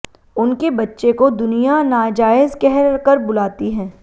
उनके बच्चे को दुनियां नाजायज कह कर बुलाती हैं